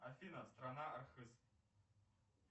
афина страна архыз